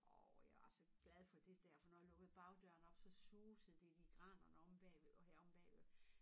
Og jeg var så glad for det dér for når jeg lukkede bagdøren op så susede det i de granerne omme bagved og har omme bagved